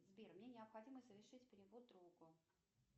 сбер мне необходимо совершить перевод другу